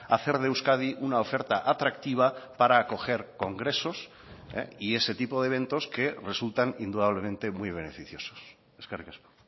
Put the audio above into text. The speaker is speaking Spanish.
hacer de euskadi una oferta atractiva para acoger congresos y ese tipo de eventos que resultan indudablemente muy beneficiosos eskerrik asko